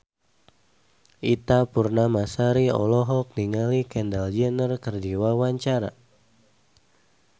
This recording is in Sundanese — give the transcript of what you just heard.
Ita Purnamasari olohok ningali Kendall Jenner keur diwawancara